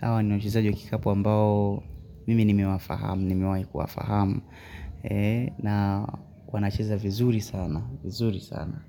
Hawa ni wachezaji wa kikapu ambao mimi nimewahi kuwafahamu. Na wanacheza vizuri sana.